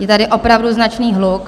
Je tady opravdu značný hluk.